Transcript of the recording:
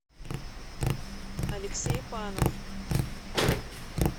алексей панов